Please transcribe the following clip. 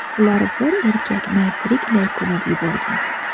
Ular bir erkakni tiriklay ko‘mib yuborgan.